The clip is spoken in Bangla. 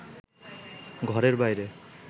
ঘরের বাইরে